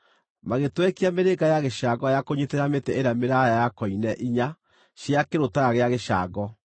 Magĩtwekia mĩrĩnga ya gĩcango ya kũnyiitĩrĩra mĩtĩ ĩrĩa mĩraaya ya koine inya cia kĩrũtara gĩa gĩcango.